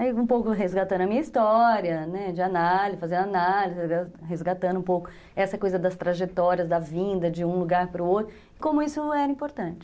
Aí, um pouco resgatando a minha história, né, de análise, fazendo análise, resgatando um pouco essa coisa das trajetórias, da vinda de um lugar para o outro, como isso era importante.